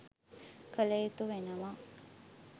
කළ යුතු වෙනවා.